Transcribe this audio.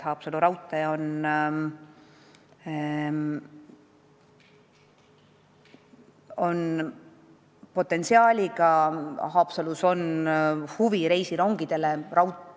Haapsalu raudteel on potentsiaali, Haapsalus on huvi reisirongide vastu.